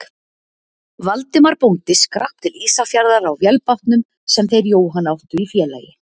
Valdimar bóndi skrapp til Ísafjarðar á vélbátnum sem þeir Jóhann áttu í félagi.